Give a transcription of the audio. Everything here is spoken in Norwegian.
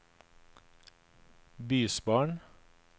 bysbarn